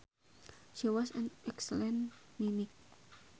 She was an excellent mimic